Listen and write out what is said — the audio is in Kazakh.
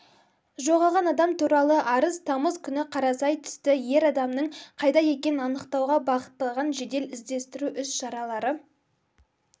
жоғалған адам туралы арыз тамыз күні қарасай түсті ер адамның қайда екенін анықтауға бағытталған жедел-іздестіру іс-шаралары